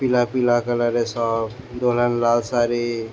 পিল পিলা কালার এর সব দূরে লাল সারি।